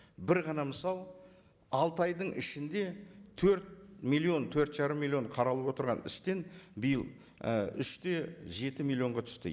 бір ғана мысал алты айдың ішінде төрт миллион төрт жарым миллион қаралып отырған істен биыл і үш те жеті миллионға түсті